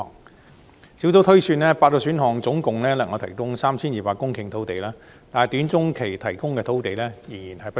專責小組推算8個選項能夠提供 3,200 公頃土地，但短中期提供的土地仍然不足。